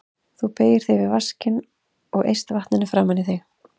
Þú beygir þig yfir vaskinn og eyst vatninu framan í þig.